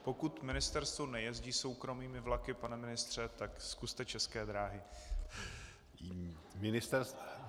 Pokud ministerstvo nejezdí soukromými vlaky, pane ministře, tak zkuste České dráhy.